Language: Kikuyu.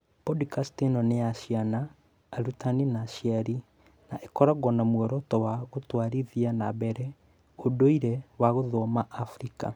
Podikast ĩno nĩ ya ciana, arutani na aciari, na ĩkoragwo na muoroto wa gũtwarithia na mbere ũndũire wa gũthoma Abirika.